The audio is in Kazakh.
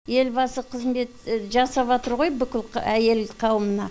елбасы қызметті жасаватыр ғой бүкіл әйел қауымына